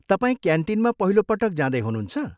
तपाईँ क्यान्टिनमा पहिलो पटक जाँदै हुनुहुन्छ?